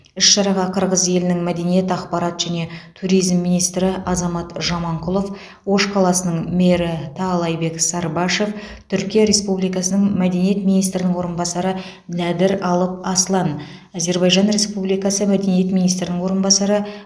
іс шараға қырғыз елінің мәдениет ақпарат және туризм министрі азамат жаманқұлов ош қаласының мері таалайбек сарыбашев түркия республикасының мәдениет министрінің орынбасары нәдір алып аслан әзербайжан республикасы мәдениет министрінің орынбасары